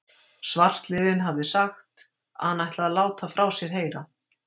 Svartliðinn hafði sagt, að hann ætlaði að láta frá sér heyra.